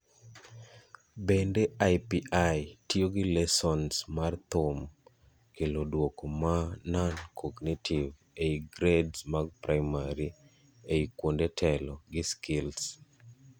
bende IPI - tiyo gi lessons mar thum kelo duoko maa non-cognitive ei grades mag primary ai kuonde telo, gi skills